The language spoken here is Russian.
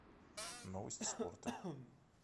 новости спорта